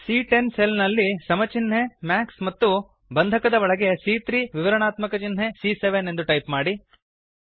ಸಿಎ10 cell ನಲ್ಲಿ ಸಮ ಚಿನ್ಹೆ ಮ್ಯಾಕ್ಸ್ ಮತ್ತು ಬಂಧಕದ ಒಳಗೆ ಸಿಎ3 ವಿವರಣಾತ್ಮಕ ಚಿನ್ಹೆ ಸಿಎ7 ಎಂದು ಟೈಪ್ ಮಾಡಿ